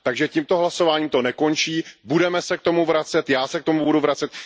Takže tímto hlasováním to nekončí, budeme se k tomu vracet, já se k tomu budu vracet.